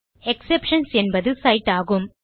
exceptions என்பது sides ஆகும்